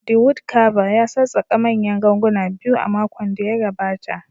The wood Carver ya sassaƙa manyan ganguna biyu a makon da ya gabata